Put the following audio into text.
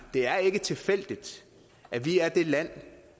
er ikke tilfældigt at vi er det land